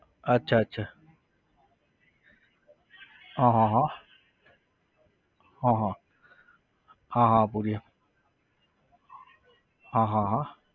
અચ્છા અચ્છા હા હા હા હા હા હા હા ભુરીયો હા હા હા